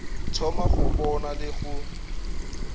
thoma go bona le go